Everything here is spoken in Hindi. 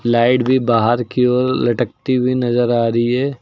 लाइट भी बाहर की ओर लटकती हुई नजर आ रही है।